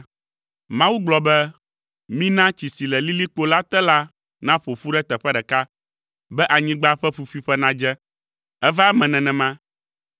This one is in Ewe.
Mawu gblɔ be, “Mina tsi si le lilikpo la te la naƒo ƒu ɖe teƒe ɖeka be anyigba ƒe ƒuƒuiƒe nadze.” Eva eme nenema.